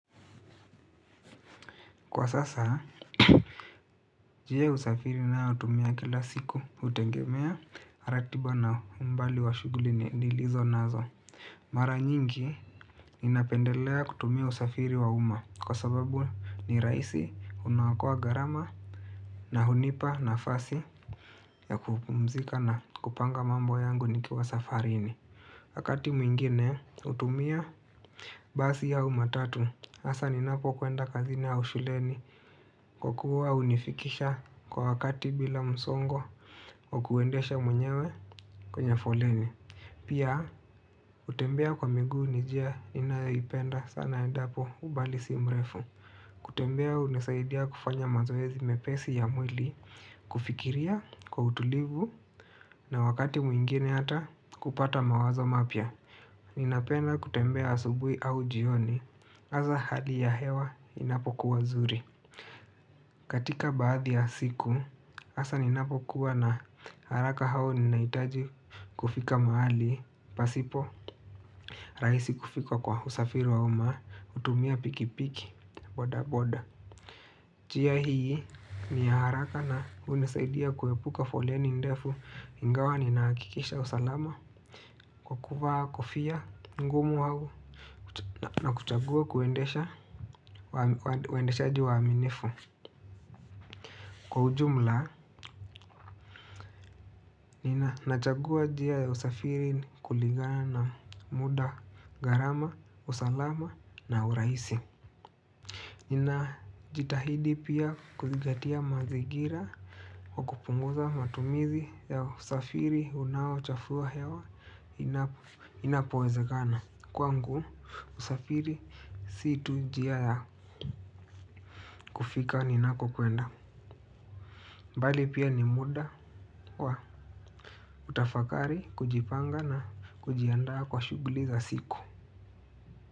Kwa sasa, njie usafiri nayotumia kila siku hutengemea ratiba na umbali wa shuguli nilizonazo. Mara nyingi ninapendelea kutumia usafiri wa uma kwa sababu ni raisi unaokoa garama na hunipa nafasi ya kupumzika na kupanga mambo yangu nikiwa safarini. Wakati mwingine hutumia basi au matatu hasa ninapokwenda kazini au suleni. Kukua hunifikisha kwa wakati bila msongo kwa kuendesha mwenyewe kwenye foleni. Pia kutembea kwa miguu nij ia inayipenda sana edapo ubalisi mrefu. Kutembea hunisaidia kufanya mazoezi mepesi ya mwili. Kufikiria kwa utulivu na wakati mwingine hata kupata mawazo mapya. Ninapenda kutembea asubui au jioni, aza hali ya hewa inapokuwa zuri. Katika baadhi ya siku, asa ninapokuwa na haraka hao ninaitaji kufika maali. Pasipo, raisi kufika kwa usafiri wa uma, hutumia pikipiki, bodaboda jia hii, ni haraka na unisaidia kuepuka foleni ndefu. Ingawa ninaakikisha usalama kwa kuvaa kofia ngumu au na kuchagua kuendesha ju waaminifu. Kwa ujumla nina nachagua jia ya usafiri kulingana na muda garama, usalama na uraisi. Nina jitahidi pia kuzingatia mazigira kwa kupunguza matumizi ya usafiri unaochafuwa hewa inapoezekana. Kwangu usafiri si tu jia ya kufika ninakokwenda. Mbali pia ni muda wa utafakari kujipanga na kujianda kwa shuguli za siku.